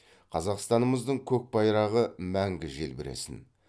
қазақстанымыздың көк байрағы мәңгі желбіресін